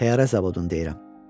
Təyyarə zavodunu deyirəm.